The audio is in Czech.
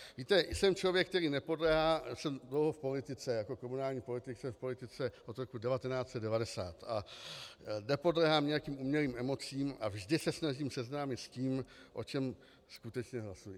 Víte, jsem člověk, který nepodléhá - jsem dlouho v politice, jako komunální politik jsem v politice od roku 1990 a nepodléhám nějakým umělým emocím a vždy se snažím seznámit s tím, o čem skutečně hlasuji.